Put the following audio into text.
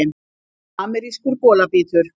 Amerískur bolabítur